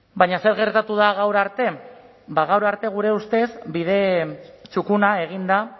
baina zer gertatu da gaur arte bada gaur arte gure ustez bide txukuna egin da